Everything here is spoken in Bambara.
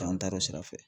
Taa an taar'o sira fɛ